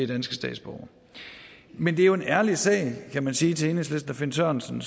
danske statsborgere men det er jo en ærlig sag kan man sige til enhedslisten og finn sørensen